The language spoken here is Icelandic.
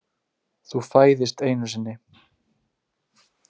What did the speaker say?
Þú fæðist einu sinni.